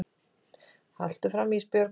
Haltu áfram Ísbjörg.